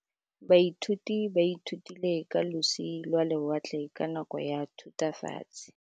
Baithuti ba ithutile ka losi lwa lewatle ka nako ya Thutafatshe.